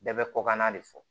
Bɛɛ bɛ kɔkanna de fɔ